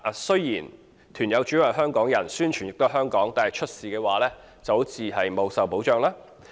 雖然團友主要是香港人，宣傳也是在香港，但如果出事，團友卻不受保障。